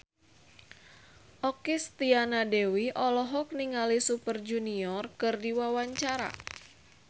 Okky Setiana Dewi olohok ningali Super Junior keur diwawancara